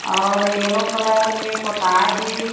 और yellow colour में पोता हे।